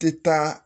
Tɛ taa